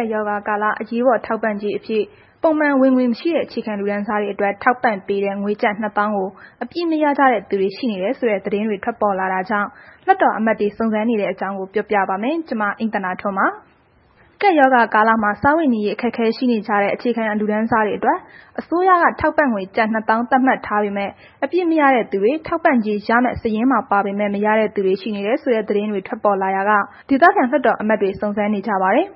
ပ်ရောဂါကာလ အရေးပေါ် ထောက်ပံ့ကြေးအဖြစ် ပုံမှန်ဝင်ငွေမရှိတဲ့ အခြေခံလူတန်းစားတွေအတွက် ထောက်ပံ့ပေးတဲ့ ငွေကျပ် ၂၀,၀၀၀ ကို အပြည့်မရကြတဲ့ သူတွေရှိနေတယ်ဆိုတဲ့ သတင်းတွေ ထွက်ပေါ်လာတာကြောင့် လွှတ်တော်အမတ်တွေ စုံစမ်းနေတဲ့အကြောင်းကို ပြောပြပါမယ်။ ဗွီအိုအေမြန်မာပိုင်းသတင်းထောက် မအိမ့်သန္တာထွန်းက တင်ပြပေးပါမယ်။ ကပ်ရောဂါကာလမှာ စားဝတ်နေရေး အခက်အခဲရှိနေကြတဲ့ အခြေခံလူတန်းစားတွေအတွက် အစိုးရက ထောက်ပံ့ငွေကျပ် ၂၀,၀၀၀ သတ်မှတ်ထားပေမဲ့ အပြည့်မရတဲ့သူတွေ၊ ထောက်ပံ့ကြေးရမယ့် စာရင်းမှာပါပေမဲ့ မရတဲ့သူတွေ ရှိနေတယ်ဆိုတဲ့ သတင်းတွေ ထွက်ပေါ်လာရာက ဒေသခံလွှတ်တော်ကိုယ်စားလှယ်တွေ စုံစမ်းနေကြပါတယ်။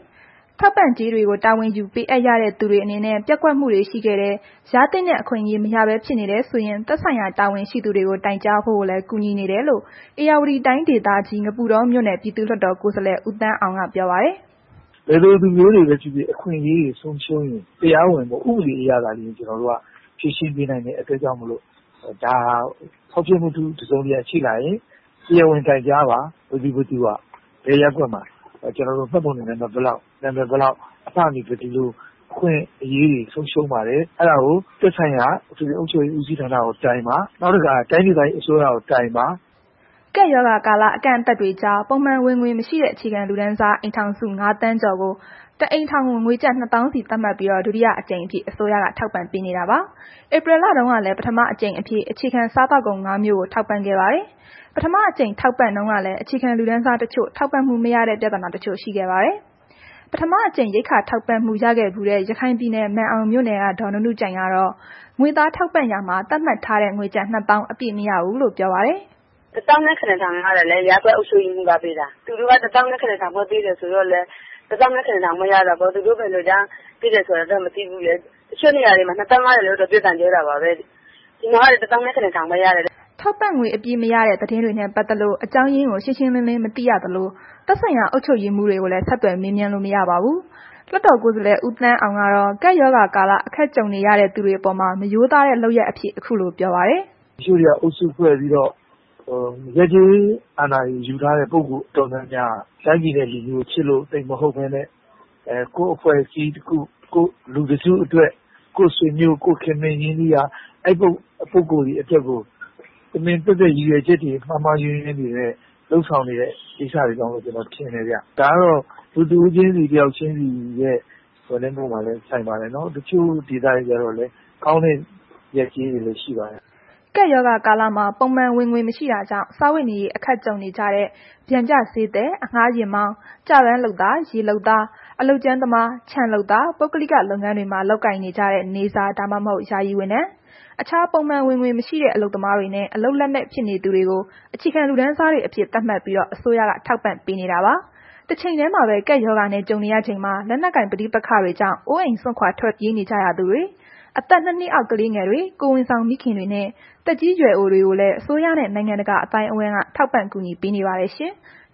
ထောက်ပံ့ကြေးတွေကို တာဝန်ယူပေးအပ်ရတဲ့သူတွေ အနေနဲ့ ပျက်ကွက်မှုတွေ ရှိခဲ့တယ်၊ ရသင့်တဲ့ အခွင့်အရေး မရဘဲဖြစ်နေတယ်ဆိုရင် သက်ဆိုင်ရာ တာဝန်ရှိသူတွေကို တိုင်ကြားဖို့လည်း ကူညီနေတယ်လို့ ဧရာဝတီတိုင်း ဒေသကြီး ငပုတောမြို့နယ် ပြည်သူ့လွှတ်တော် ကိုယ်စားလှယ် ဦးသန်းအောင်က ပြောပါတယ်။ “ဘယ်လိုလူမျိုးတွေပဲဖြစ်ဖြစ် အခွင့်အရေးတွေဆုံးရှုံးရင် တရားဝင် ဥပဒေအရသာလျှင် ကျနော်တို့က ဖြေရှင်းပေးနိုင်တဲ့အတွက်ကြောင့်မို့လို ဒါဟာ ဖောက်ဖျက်မှု တစုံတရာဖြစ်လာရင် တရားဝင်တိုင်ကြားပါ။ ဘယ်သူဟာ၊ ဘယ်ရပ်ကွက်မှာ မှတ်ပုံတင်နံပါတ် ဘယ်လောက်၊ နာမည် စသည်ဖြင့် ဒီလို အခွင့်အရေးတွေဆုံးရှုံးပါတယ်။ အဲ့ဒါကို သက်ဆိုင်ရာ အထွေထွေအုပ်ချုပ်ရေးဦးစီးဌာနကိုတိုင်ပါ။ နောက်တစ်ခါ တိုင်းဒေသကြီး အစိုးရကို တိုင်ပါ။” ကပ်ရောဂါကာလ အကန့်အသတ်တွေကြား ပုံမှန်ဝင်ငွေမရှိတဲ့ အခြေခံလူတန်းစား အိမ်ထောင်စု ၅,၀၀၀,၀၀၀ ကျော်ကို တစ်အိမ်ထောင်ကို ကျပ် ၂၀,၀၀၀ စီ သတ်မှတ်ပြီး ဒုတိယအကြိမ်အဖြစ် အစိုးရကထောက်ပံ့နေတာပါ။ ဧပြီလတုန်းကလည်း ပထမအကြိမ် အဖြစ် အခြေခံစားသောက်ကုန် ငါး မျိုးကို ထောက်ပံ့ခဲ့ပါတယ်။ ပထမအကြိမ်ထောက်ပံ့တုန်းကလည်း အခြေခံလူတန်းစားတချို့ ထောက်ပံ့မှုမရတဲ့ ပြဿနာတချို့ ရှိခဲ့ပါတယ်။ ပထမတစ်ကြိမ် ရိက္ခာထောက်ပံ့မှု ရခဲ့ဖူးတဲ့ ရခိုင်ပြည်နယ် မာန်အောင်မြို့နယ်က ဒေါ်နုနုကြိုင်ကတော့ ဒီတကြိမ် ငွေသားထောက်ပံ့ရာမှာ သတ်မှတ်ထားတဲ့ ကျပ်ငွေ ၂၀,၀၀၀ အပြည့်မရဘူးလို့ ပြောပါတယ်။ “၁၇,၀၀၀ ရတယ်လေ၊ ရပ်ကွက်အုပ်ချုပ်ရေးမှူးကပေးတာ။ သူတို့က ၁၇,၀၀၀ ပဲပေးတော့လည်း ၁၇,၀၀၀ ပဲရတာပေါ့။ သူတို့ဘယ်လိုကြောင့် ပေးတယ်ဆိုတာတော့ မသိဘူးလေ။ တခြားမှာတော့ ၂၀,၀၀၀ ရတယ်လို့တော့ ပြောတာကြားတာပဲ၊ ဒီမှာတော့ ၁၇,၀၀၀ ပဲရတယ်။” ထောက်ပံ့ငွေ အပြည့်မရတဲ့ သတင်းတွေနဲ့ ပတ်သက်လို့ အကြောင်းရင်းကို ရှင်းရှင်းလင်းလင်း မသိရသလို၊ သက်ဆိုင်ရာ အုပ်ချုပ်ရေးမှူးတွေကိုလည်း ဆက်သွယ်မေးမြန်းလို့ မရပါဘူး။ လွှတ်တော်ကိုယ်စားလှယ် ဦးသန်းအောင်ကတော့ ကပ်ရောဂါကာလ အခက်ကြုံနေရတဲ့ သူတွေအပေါ်မှာ မရိုးသားတဲ့ လုပ်ရပ်အဖြစ် အခုလို ပြောပါတယ်။ “တချို့တွေက အုပ်စုဖွဲ့ပြီးတော့ ရပ်ကျေးအာဏာကို ယူထားတဲ့သူ အတော်များများက တိုင်းပြည်နဲ့ လူမျိုးကိုချစ်လို့ သိပ်မဟုတ်ဘဲနဲ့ ကိုယ့်အဖွဲ့အစည်းတစ်ခု လူတစ်စုအတွက် ကိုယ့်ဆွေမျိုး၊ ကိုယ့်ခင်မင်ရင်းနှီးရာ အဲ့လိုပုဂ္ဂိုလ်တွေအတွက်ကို တမင်သက်သက် ရည်ရွယ်ချက်အတွေ အမှားအယွင်းတွေနဲ့ လုပ်ဆောင်နေတဲ့ ကိစ္စတွေကြောင့်လို့ ကျနော် ထင်တယ်ဗျ။ ဒါက လူတစ်ယောက်ချင်းစီရဲ့ စိတ်အပေါ်မှာပဲ ဆိုင်ပါတယ်နော်။ တချို့ ဒေသတွေကျတော့လည်း ကောင်းတဲ့ ရပ်ကျေးတွေလည်း ရှိပါတယ်။” ကပ်ရောဂါကာလမှာ ပုံမှန်ဝင်ငွေမရှိတာကြောင့် စားဝတ်နေရေး အခက်ကြုံနေကြတဲ့ ပျံကျဈေးသည်၊ အငှားယာဉ်မောင်း၊ ကျပန်းလုပ်သား၊ ရေလုပ်သား၊ အလုပ်ကြမ်းသမား၊ ခြံလုပ်သား၊ ပုဂ္ဂလိက လုပ်ငန်းတွေမှာလုပ်ကိုင်နေတဲ့ နေ့စား ဒါမှမဟုတ် ယာယီဝန်ထမ်း၊ အခြားပုံမှန် ဝင်ငွေမရှိတဲ့ အလုပ်သမားတွေနဲ့ အလုပ်လက်မဲ့ ဖြစ်နေသူတွေကို အခြေခံလူတန်းစားတွေအဖြစ် သတ်မှတ်ပြီး အစိုးရက ထောက်ပံ့နေတာပါ။ တချိန်တည်းမှာပဲ ကပ်ရောဂါနဲ့ ကြုံရချိန်မှာ လက်နက်ကိုင် ပဋိပက္ခတွေကြောင့် အိုးအိမ်စွန့်ခွာပြေးနေကြရသူတွေ၊ အသက် ၂ နှစ်အောက် ကလေးငယ်တွေ၊ ကိုယ်ဝန်ဆောင်မိခင်တွေနှင့် သက်ကြီးရွယ်အိုတွေကိုလည်း အစိုးရနဲ့ နိုင်ငံတကာ အသိုင်းအဝန်းက ထောက်ပံ့ကူညီနေပါတယ်ရှင်။